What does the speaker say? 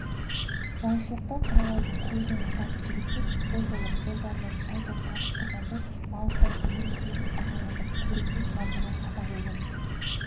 жайшылықта құралайды көзінен ататын жігіттер бұ жолы қолдарын шайтан қағып тұрғандай алыстан еміс-еміс ағараңдап көрінген жамбыға садақ оғын